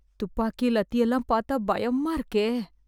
துப்பாக்கி, லத்தியெல்லாம் பாத்தா பயமா இருக்கே...